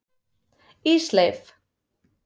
Ísleif